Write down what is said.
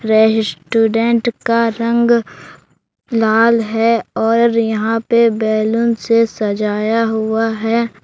रहस्टूडेंट का रंग लाल है और यहां पर बैलून से सजाया हुआ है।